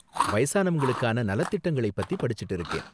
வயசானவங்களுக்கான நல திட்டங்களைப் பத்தி படிச்சுட்டு இருக்கேன்.